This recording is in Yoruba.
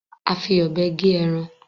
A fí òbé gé ẹran